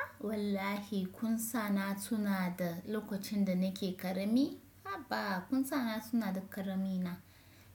A wallahi kusa na tuna da lokacin da nake ƙarami. A ba kusa na suna da ƙarami na.